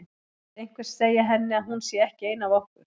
Vill einhver segja henni að hún sé ekki ein af okkur.